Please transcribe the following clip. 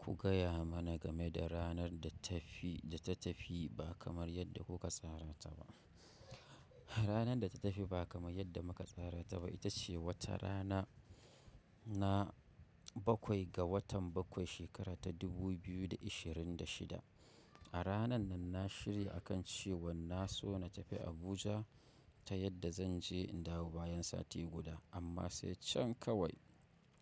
Ku gaya mana game da ranar da tafi, da ta tafi ba kamar yadda kuka tsara ta ba. Ranar da ta tafi ba kamar yadda muka tsara ta ba, ita ce wata rana na bakwai ga watan bakwai shekara ta 2026. A ranar nan na shirya a kan cewa na so na tafi Abuja ta yadda zan je in dawo bayan sati guda. Amma sai can kawai